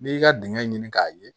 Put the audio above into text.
N'i y'i ka dingɛ ɲini k'a ye